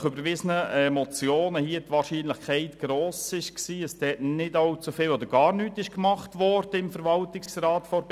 Wir erachteten jedoch die Wahrscheinlichkeit als gross, dass im Verwaltungsrat der BKW trotzdem nicht allzu viel oder gar nichts unternommen wurde.